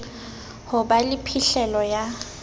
ho ba le phihlelo ya